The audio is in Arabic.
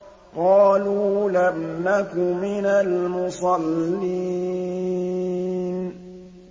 قَالُوا لَمْ نَكُ مِنَ الْمُصَلِّينَ